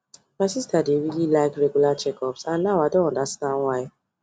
my sister dey really like regular checkups and now i don understand why